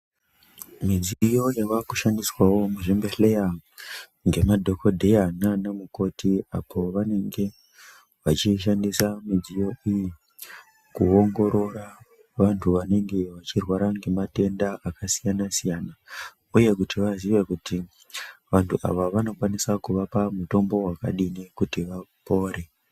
Midziyo yavakushandiswawo nema dhogodheya muzvibhedleya nanamukoti apo vanenge vachishandisa midziyo iyi kuongorora vantu vanenge vachirwara nemantenda akasiyana siyana ,uye kuti vaziye kuti vanhu ava vanokwanisa kuvapa mutombo wakadii kuti vapore.